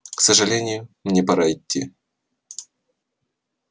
к сожалению мне пора идти